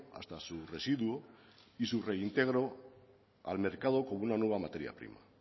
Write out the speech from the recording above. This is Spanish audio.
hasta su residuo y su reintegro al mercado como una nueva materia prima